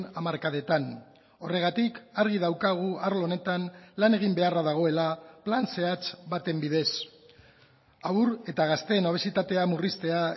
hamarkadetan horregatik argi daukagu arlo honetan lan egin beharra dagoela plan zehatz baten bidez haur eta gazteen obesitatea murriztea